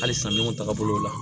Halisa minnu taaga bolo la